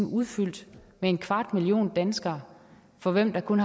udfyldt med en kvart million danskere for hvem der kun